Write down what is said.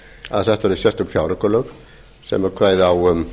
að sett verði sérstök fjáraukalög sem kveði á um